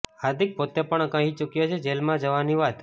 હાર્દિક પોતે પણ કહી ચૂક્યો છે જેલમાં જવાની વાત